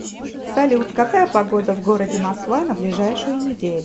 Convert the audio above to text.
салют какая погода в городе москва на ближайшую неделю